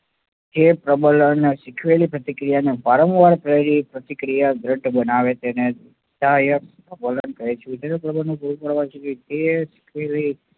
જે પ્રબલન સીખવેલી પ્રતિક્રિયાને વારંવાર બનેલી પ્રતિક્રિયા બનાવે તેને કહે છે.